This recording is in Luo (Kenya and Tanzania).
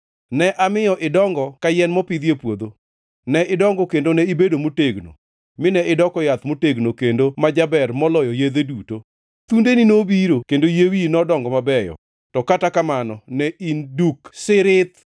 Ne amiyo idongo ka yien mopidhi e puodho. Ne idongo kendo ne ibedo motegno, mine idoko yath motegno kendo ma jaber moloyo yedhe duto. Thundeni nobiro, kendo yie wiyi nodongo mabeyo, to kata kamano ne in duk thirith.